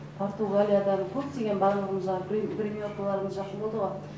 португалиядан көптеген барлығымызға гриммеркаларымыз жақын болды ғой